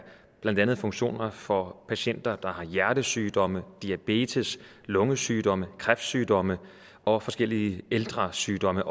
blandt andet funktioner for patienter der har hjertesygdomme diabetes lungesygdomme kræftsygdomme og forskellige ældresygdomme